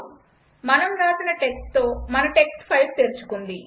మనం రాసిన టెక్స్ట్తో మన టెక్స్ట్ ఫైల్ తెరుచుకుంది